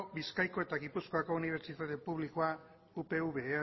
bizkaiko eta gipuzkoari unibertsitate publikoa upv